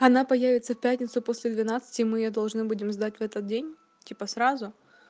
она появится в пятницу после двенадцати мы её должны будем сдать в этот день типа сразу